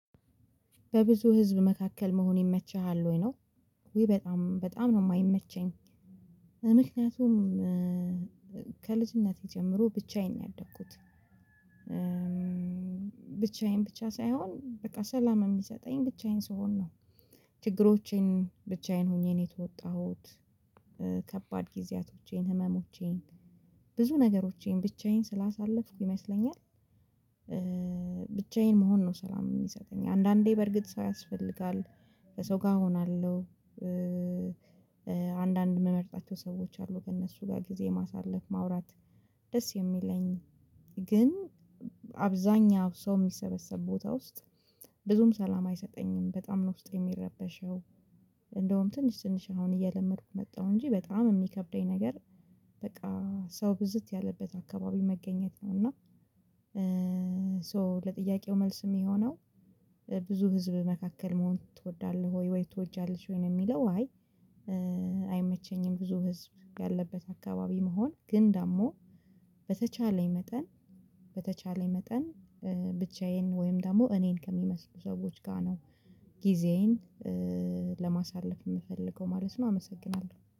በብዙ ህዝብ መካከል መሆን ይመችሃል ወይ ነው? ውይ በጣም በጣም ነው የማይመቸኝ። ምክንያቱም ከልጅነቴ ጀምሮ ብቻዬን ያደግኩት ብቻዬን ብቻ ሳይሆን በቃ ሰላም የሚሰጠኝ ብቻዬን ስሆን ነው። ችግሮቼን ብቻዬን ሆኜ ነው የተወጣሁት። ከባድ ጊዜያቶቼን ህመሞቼን ብዙ ነገሮቼን ብቻዬን ስላሳለፍኩ ይመስለኛል። ብቻዬን መሆን ነው ሰላም የሚሰጠኝ አንዳንዴ በርግጥ ሰው ያስፈልጋል ሰው ጋር እሆናለሁ። አንዳንድ የምመርጣቸው ሰዎች አሉ ከእነሱ ጋር ጊዜ ማሳለፍ ማውራት ደስ የሚለኝ። ግን አብዛኛው ሰው የሚሰበሰብ ቦታ ውስጥ ብዙም ሰላም አይሰጠኝም በጣም ነው ውስጥ የሚረበሸው። እንደውም ትንሽ ትንሽ አሁን እየለመድኩ መጣሁ እንጂ በጣም የሚከብደኝ ነገር በቃ ሰው ብዝት ያለበት አካባቢ መገኘት ነው። እና ሶ ለጥያቄው መልስም የሚሆነው ብዙ ህዝብ መካከል መሆን ትወዳለህ ወይ ወይ ትወጃለህ ወይ ነው? የሚለው አይ አይመቸኝም ብዙ ህዝብ ያለበት አካባቢ መሆን። ግን ደግሞ በተቻለኝ መጠን በተቻለኝ መጠን ብቻዬን ወይም ደግሞ እኔን ከሚመስሉ ሰዎች ጋር ነው። ጊዜዬን ለማሳለፍ የምፈልገው ማለት ነው። አመሰግናለሁ